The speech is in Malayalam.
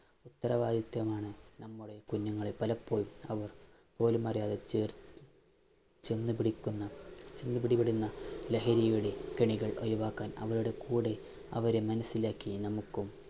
ഉത്തരവാദിത്തമാണ് നമ്മുടെ കുഞ്ഞുങ്ങള്‍ പലപ്പോഴും അവര്‍ പോലുമറിയാതെ ചേര്‍ത്ത് ചെന്നു പിടിക്കുന്ന ലഹരിയുടെ കെണികള്‍ ഒഴിവാക്കാന്‍ അവരുടെ കൂടെ, അവരെ മനസിലാക്കി നമുക്കും